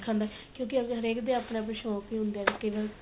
ਸਿਖਣ ਦਾ ਕਿਉਂ ਕਿ ਅਗਰ ਹਰੇਕ ਦੇ ਆਪਣੇ ਆਪਣੇ ਸ਼ੋਂਕ ਵੀ ਹੁੰਦੇ ਏ